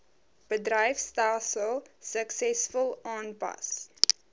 bedryfstelsels suksesvol aanpas